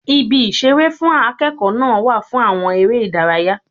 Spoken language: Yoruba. Ibi ìṣeré fún akẹ́kọ̀ọ́ náà wà fún àwọn ère ìdárayá.